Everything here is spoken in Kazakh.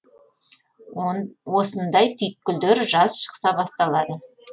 осындай түйткілдер жаз шықса басталады